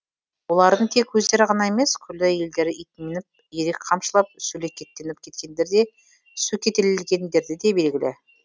олардың тек өздері ғана емес күллі елдері ит мініп ирек қамшылап сөлекеттеніп кеткендер деп сөкеттелгендері де белгілі